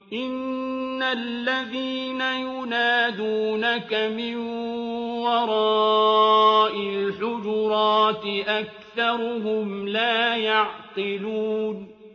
إِنَّ الَّذِينَ يُنَادُونَكَ مِن وَرَاءِ الْحُجُرَاتِ أَكْثَرُهُمْ لَا يَعْقِلُونَ